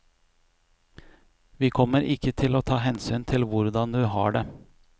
Vi kommer ikke til å ta hensyn til hvordan du har det.